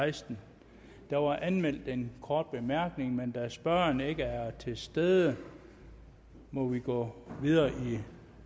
sekstende der var anmeldt en kort bemærkning men da spørgeren ikke er til stede må vi gå videre i